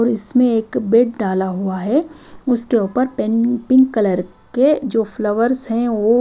और इसमें एक बेड डाला हुआ है उसके ऊपर पिंक कलर के जो फ्लावर्स है वो --